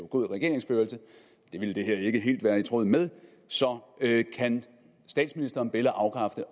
god regeringsførelse og det ville det her ikke helt være i tråd med så kan statsministeren be eller afkræfte